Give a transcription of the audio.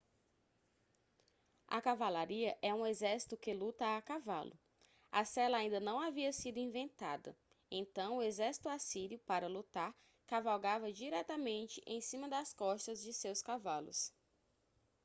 a cavalaria é um exército que luta a cavalo a sela ainda não havia sido inventada então o exército assírio para lutar cavalgava diretamente em cima das costas de seus cavalos